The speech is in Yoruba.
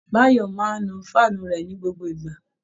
Báyọ̀ máa ń nu fáànù rẹ̀ ní gbogbo ìgbà